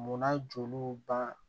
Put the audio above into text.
Munna joli ba